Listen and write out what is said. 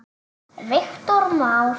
Viktor Már.